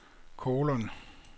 kolon